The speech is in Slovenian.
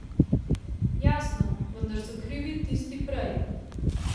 Jasno, vedno so krivi tisti prej.